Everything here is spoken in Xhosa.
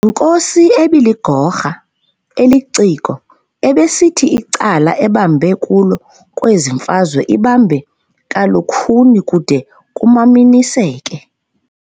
Yinkosi ebiligorha, eliciko, ebisithi icala ebambe kulo kwezi mfazwe ibambe kalukhuni kude kumamaniseke.